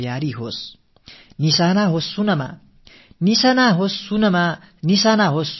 வாய்ப்பு நம் வசமாக முனைப்புகள் பெருகட்டும்